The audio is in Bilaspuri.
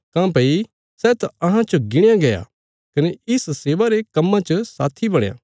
काँह्भई सै त अहां च गिणया गया कने इस सेवा रे कम्मां च साथी बणया